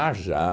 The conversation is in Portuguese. já.